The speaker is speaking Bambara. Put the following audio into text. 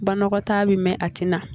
Banakɔtaa bɛ mɛɛn a tɛ na